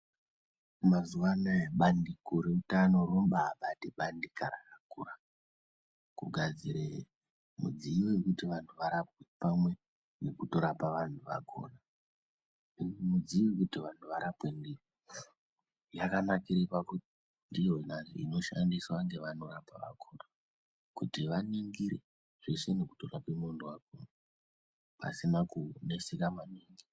Mazuwa anaya bandiko reutano rombabate bandika rakakura kugadzire mudziyo yekuti antu arapwe pamwe ngekutorapa vantu vakhona iyi midziyo yekuti vantu varapwe ndiyo yakanakire pakuti ndiyona inoshandiswa ngevanorapa vakhona kuti vaningire zveshe nekutorapa muntu wakhona pasina kuneseka maningi.